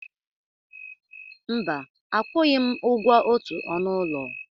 Mba, akwụghị m ụgwọ otu ọnụ ụlọ.